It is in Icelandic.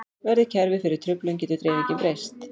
Verði kerfið fyrir truflun getur dreifingin breyst.